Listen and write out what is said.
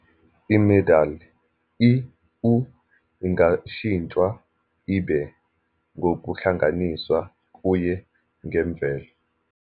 I-medial, i, u, ingashintshwa ibe, ngokuhlanganiswa kuye ngemvelo.